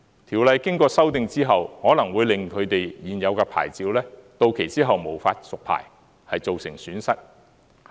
《條例》經過修訂後，可能會令他們現有的牌照，到期後無法續牌而造成損失。